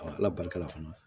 ala barika la fana